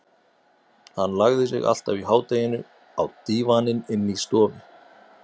Hann lagði sig alltaf í hádeginu á dívaninn inni í stofu.